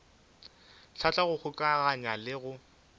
hlahla go kgokaganya le go